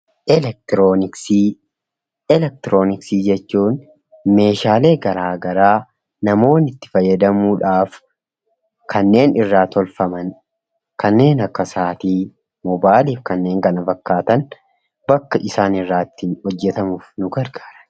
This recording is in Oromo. Elektirooniksii: Elektirooniksii jechuun meeshaalee garaa garaa namoonni itti fayyadamuudhaaf kanneen irraa tolfaman, kanneen akka sa'aatii, moobaayilii fi kanneen kana fakkaatan bakka isaan irraa itti hojjetamuuf nu gargaara.